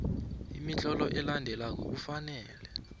imitlolo elandelako kufanele